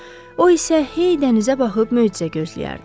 O isə hey dənizə baxıb möcüzə gözləyərdi.